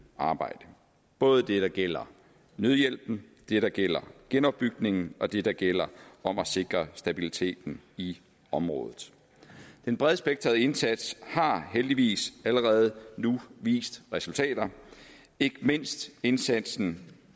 arbejde både det der gælder nødhjælpen det der gælder genopbygningen og det der gælder om at sikre stabiliteten i området den bredspektrede indsats har heldigvis allerede nu vist resultater ikke mindst indsatsen